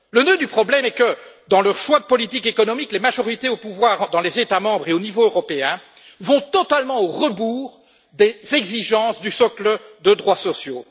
Le nœud du problème est que, dans leur choix de politique économique, les majorités au pouvoir dans les États membres et au niveau européen vont totalement au rebours des exigences du socle de droits sociaux.